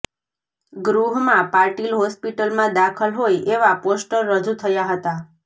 ગૃહમાં પાટીલ હોસ્પિટલમાં દાખલ હોય એવા પોસ્ટર રજૂ થયા હતા